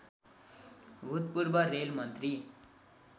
भूतपूर्व रेल मन्त्री